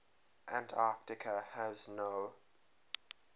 antarctica has no